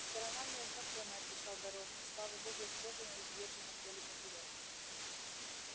сторона мне знакомая отвечал дорожный слава богу исхожена и изъезжена вдоль и поперёк